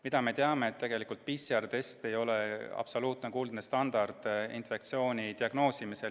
Mida me teame, on see, et PCR-test ei ole absoluutne kuldne standard infektsiooni diagnoosimisel.